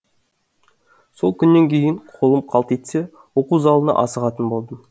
сол күннен кейін қолым қалт етсе оқу залына асығатын болдым